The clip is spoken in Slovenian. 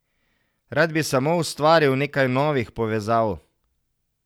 Rad bi samo ustvaril nekaj novih povezav.